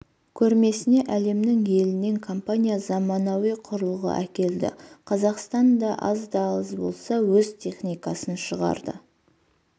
көрмесіне әлемнің елінен компания заманауи құрылғы әкелді қазақстан да аз да болса өз техникасын шығарды